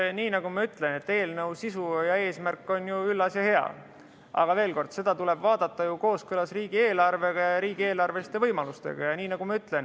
Eks nii nagu ma ütlen, eelnõu sisu ja eesmärk on ju üllas ja hea, aga veel kord, seda tuleb vaadata kooskõlas riigieelarvega, riigieelarveliste võimalustega.